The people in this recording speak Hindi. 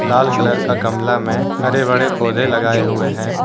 लाल कलर का गमला में हरे बड़े पौधे लगाये हुए है।